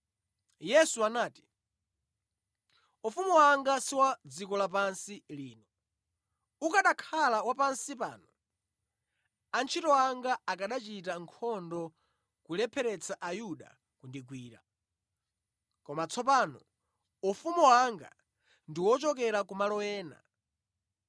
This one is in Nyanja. Yesu anati, “Ufumu wanga si wa dziko lapansi lino. Ukanakhala wa pansi pano, antchito anga akanachita nkhondo kulepheretsa Ayuda kundigwira. Koma tsopano ufumu wanga ndi wochokera kumalo ena.”